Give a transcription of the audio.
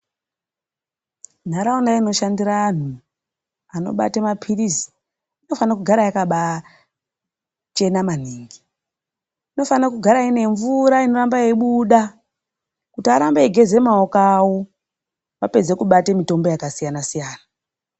Nharaunda inoshandira antu anobate maphirizi, inofane kugara yakabaachena maningi. Inofanire kugara ine mvura inorambe yeibuda kuti arambe eigeza maoko awo apedze kubate mitombo yakasiyana siyana.